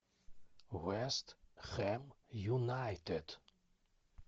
вест хэм юнайтед